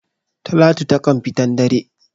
Talatu taƙan fitan dare.